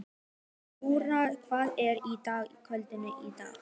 Jarún, hvað er í dagatalinu í dag?